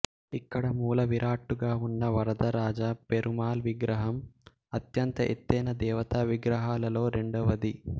ఇక్కడ మూలవిరాట్టుగా ఉన్న వరదరాజ పెరుమాళ్ విగ్రహం అత్యంత ఎత్తైన దేవతా విగ్రహాలలో రెండవది